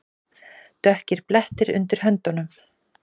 Dökkir blettir undir höndunum.